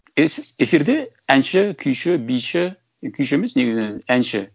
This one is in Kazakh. эфирде әнші күйші биші күйші емес негізі әнші